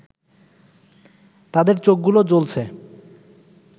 তাদের চোখগুলো জ্বলছে